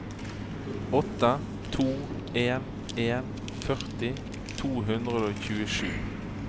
åtte to en en førti to hundre og tjuesju